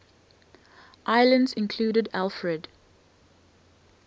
islands included alfred